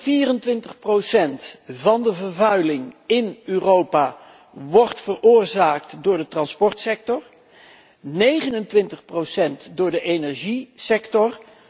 24 procent van de vervuiling in Europa wordt veroorzaakt door de transportsector, 29 procent door de energiesector.